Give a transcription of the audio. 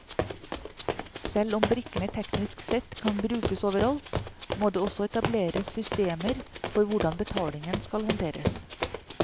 Selv om brikkene teknisk sett kan brukes over alt, må det også etableres systemer for hvordan betalingen skal håndteres.